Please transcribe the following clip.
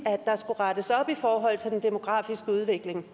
at rettes op i forhold til den demografiske udvikling